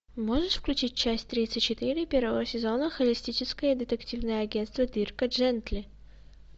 можешь включить часть тридцать четыре первого сезона холистическое детективное агентство дирка джентли